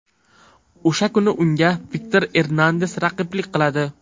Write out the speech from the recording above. O‘sha kuni unga Viktor Ernandes raqiblik qiladi.